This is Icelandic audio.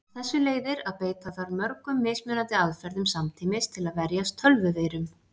Af þessu leiðir að beita þarf mörgum mismunandi aðferðum samtímis til að verjast tölvuveirum.